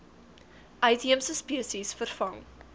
uitheemse spesies vervang